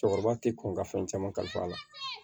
Cɛkɔrɔba ti kɔn ka fɛn caman kalifa a la